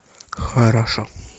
хорошо